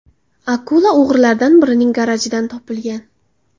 Akula o‘g‘rilardan birining garajidan topilgan.